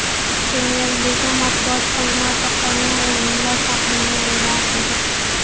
Premyer Liga matbuot xizmati qolgan o‘yinlar taqvimini e’lon qildi .